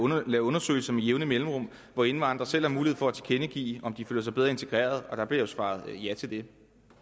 lavet undersøgelser med jævne mellemrum hvor indvandrere selv har mulighed for at tilkendegive om de føler sig bedre integreret og der bliver jo svaret ja til det